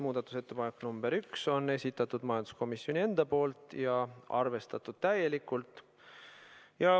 Muudatusettepaneku nr 1 on esitanud majanduskomisjon ja seda on arvestatud täielikult.